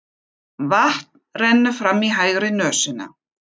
Vatn rennur fram í hægri nösina.